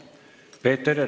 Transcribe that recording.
Peeter Ernits.